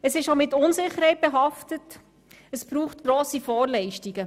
Innovationen sind auch mit Unsicherheit behaftet und brauchen grosse Vorleistungen.